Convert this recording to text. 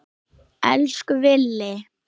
Elsku Villi.